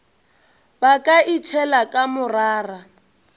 ba ka itšhela ka morara